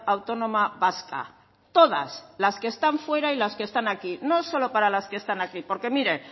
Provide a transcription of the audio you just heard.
autónoma vasca todas las que están fuera y las que están aquí no solo para las que están aquí porque mire